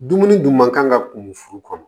Dumuni dun man kan ka kun furu